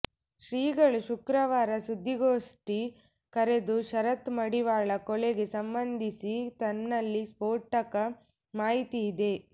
ಶ್ರೀಗಳು ಶುಕ್ರವಾರ ಸುದ್ದಿಗೋಷ್ಠಿ ಕರೆದು ಶರತ್ ಮಡಿವಾಳ ಕೊಲೆಗೆ ಸಂಬಂಧಿಸಿ ತನ್ನಲ್ಲಿ ಸ್ಪೋಟಕ ಮಾಹಿತಿ ಇದೆ